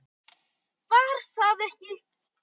Var það ekki!